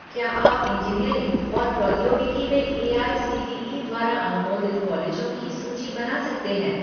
क्या आप इंजीनियरिंग और प्रौद्योगिकी में एआईसीटीई द्वारा अनुमोदित कॉलेजों की सूची बना सकते हैं